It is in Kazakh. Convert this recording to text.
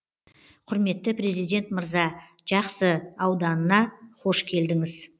құрметті президент мырза жақсы ауданына қош келдіңіз